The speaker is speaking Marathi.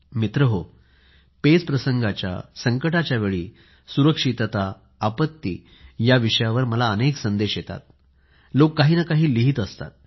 मित्रहो पेच प्रसंगाच्या संकटाच्या वेळी सुरक्षितता आपत्ती या विषयावर मला अनेक संदेश येतात लोक काही ना काही लिहित असतात